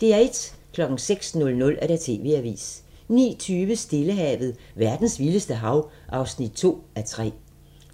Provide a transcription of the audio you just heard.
06:00: TV-avisen 09:20: Stillehavet – verdens vildeste hav (2:3)